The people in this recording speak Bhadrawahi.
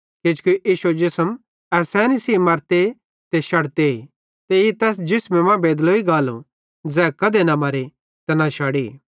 किजोकि इश्शो जिसम ऐसैनी सेइं मरते ते शड़ते ते ई तैस जिसमे मां बेदलोई गालो ज़ै कधे न मरे ते न शड़े